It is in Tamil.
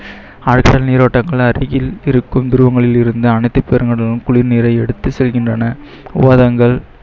ஆழ்கடல் நீரோட்ட துருவங்களிலிருந்து அனைத்து பெருங்கடலும் குளிர் நீரை எடுத்துச் செல்கின்றன